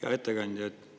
Hea ettekandja!